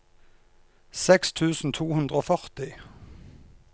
seks tusen to hundre og førti